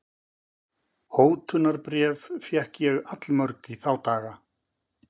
Hótunarbréf fékk ég allmörg í þá daga.